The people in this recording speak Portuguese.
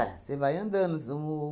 Você vai andando